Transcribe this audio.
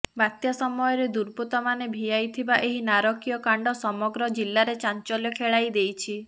ବାତ୍ୟା ସମୟରେ ଦୁର୍ବୃତ୍ତମାନେ ଭିଆଇ ଥିବା ଏହି ନାରକୀୟକାଣ୍ଡ ସମଗ୍ର ଜିଲ୍ଲାରେ ଚାଞ୍ଚଲ୍ୟ ଖେଳାଇ ଦେଇଛି